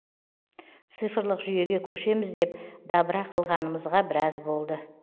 цифрлық жүйеге көшеміз деп дабыра қылғанымызға біраз болды